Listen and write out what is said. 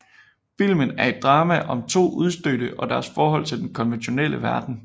Filmen er et drama om to udstødte og deres forhold til den konventionelle omverden